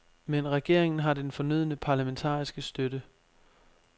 Men regeringen har den fornødne parlamentariske støtte.